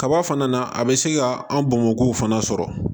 Kaba fana na a bɛ se ka an bomɔkiw fana sɔrɔ